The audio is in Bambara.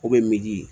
O bɛ miliyɔn